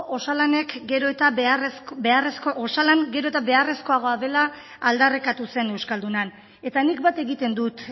osalan gero eta beharrezkoagoa dela aldarrikatu zen euskaldunan eta nik bat egiten dut